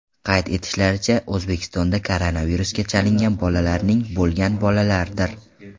Qayd etishlaricha, O‘zbekistonda koronavirusga chalingan bolalarning bo‘lgan bolalardir.